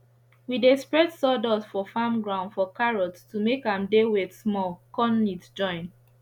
we dey spread sawdust for farm ground for carrots to make am dey wet small con neat join